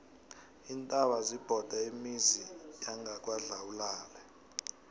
iintaba zibhode imizi yangakwadlawulale